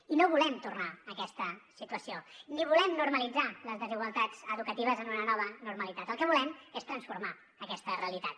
i no volem tornar a aquesta situació ni volem normalitzar les desigualtats educatives en una nova normalitat el que volem és transformar aquesta realitat